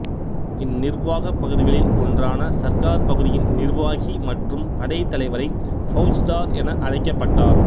இந்நிர்வாகப் பகுதிகளில் ஒன்றான சர்க்கார் பகுதியின் நிர்வாகி மற்றும் படைத்தலைவரை பௌஜ்தார் என அழைக்கப்பட்டார்